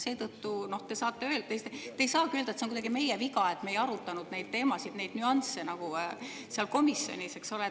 Seetõttu ei saa te küll öelda, et see on kuidagi meie viga, et me ei arutanud neid teemasid, neid nüansse seal komisjonis, eks ole.